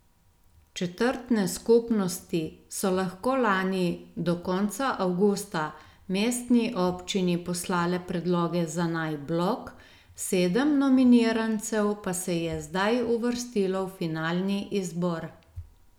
Četrtne skupnosti so lahko lani do konca avgusta mestni občini poslale predloge za naj blok, sedem nominirancev pa se je zdaj uvrstilo v finalni izbor.